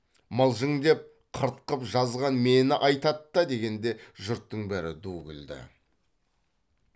мылжың деп қырт қып жазған мені айтат та дегенде жұрттың бәрі ду күлді